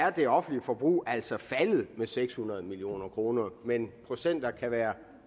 at det offentlige forbrug altså er faldet med seks hundrede million kroner men procenter kan være